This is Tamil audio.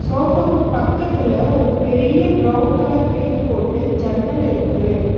சோஃபாக்கு பக்கத்துல ஒரு பெரிய பிரவுன் கலர் பெயிண்ட் போட்டு ஜன்னல் இருக்கு.